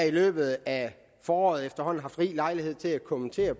i løbet af foråret haft rig lejlighed til at kommentere